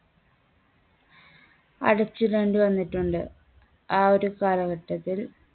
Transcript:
അടച്ചിടേണ്ടി വന്നിട്ടുണ്ട് ആ ഒരു കാലഘട്ടത്തിൽ.